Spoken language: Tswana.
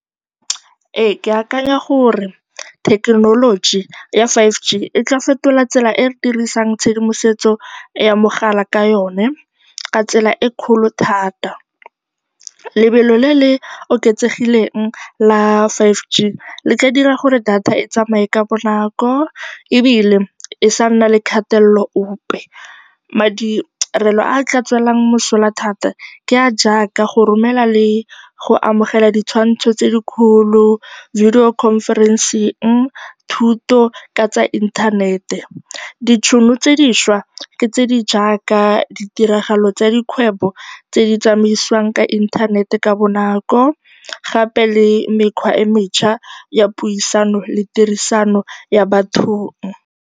Ee, ke akanya gore thekenoloji ya five G e tla fetola tsela e re dirisang tshedimosetso ya mogala ka yone ka tsela e kgolo thata. Lebelo le le oketsegileng la five G le ka dira gore data e tsamaye ka bonako ebile e se ka ya nna le kgatelelo epe. Madirelo a a tla tswelwang mosola thata ke a a jaaka go romela le go amogela ditshwantsho tse di kgolo, video conferencing, thuto ka tsa inthanete. Ditšhono tse dišwa ke tse di jaaka tiragalo tsa dikgwebo tse di tsamaisiwang ka inthanete ka bonako gape le mekgwa e mešwa ya puisano le tirisano ya bathong.